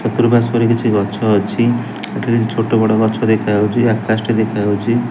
ଚର୍ତୁପାର୍ଶ୍ବରେ କିଛି ଗଛ ଅଛି ଏଠାରେ ଛୋଟ ବଡ ଗଛ ଦେଖାଯାଉଚି ଆକାଶ ଟି ଦେଖାଯାଉଚି।